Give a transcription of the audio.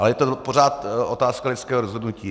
Ale je to pořád otázka lidského rozhodnutí.